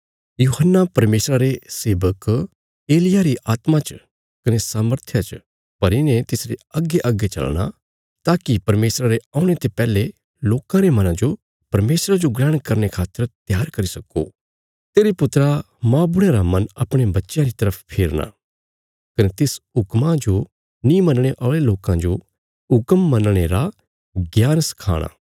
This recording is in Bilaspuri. यूहन्ना परमेशरा रे सेवक एलिय्याह री आत्मा च कने सामर्थया च भरी ने तिसरे अग्गेअग्गे चलना ताकि परमेशरा रे औणे ते पैहले लोकां रे मनां जो परमेशरा जो ग्रहण करने खातर त्यार करी सक्को तेरे पुत्रा मौबुढ़यां रा मन अपणे बच्चयां री तरफ फेरना कने तिस हुक्मा जो नीं मनणे औल़े लोकां जो हुक्म मनणे रा ज्ञान सखाणा